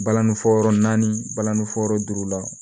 Balani fɔ yɔrɔ naani balani fɔ yɔrɔ duuru la